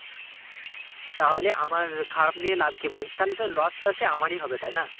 তাহলে আমার খারাপ নিয়ে লাভ কি বল তাহলে তো loss টা সেই আমারই হবে তাই না?